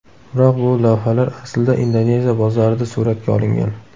Biroq bu lavhalar aslida Indoneziya bozorida suratga olingan.